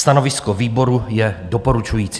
Stanovisko výboru je doporučující.